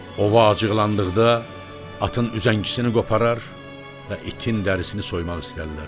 Ova acıqlandıqda atın düzəngicisini qoparar və itin dərisini soymaq istəyirlər.